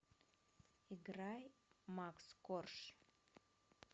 играй макс корж